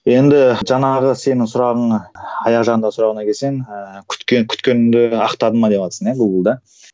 енді жаңағы сенің сұрағың аяқ жағында сұрағыңа келсең ііі күткеніңді ақтадың ба деватырсың иә гугл да